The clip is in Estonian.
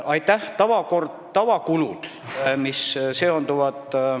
Aitäh!